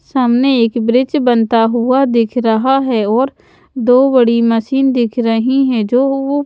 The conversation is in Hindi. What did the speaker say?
सामने एक ब्रिज बनता हुआ दिख रहा है और दो बड़ी मशीन दिख रही है जो--